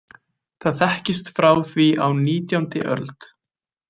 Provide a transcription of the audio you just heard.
Það þekkist frá því á og nítjándi öld.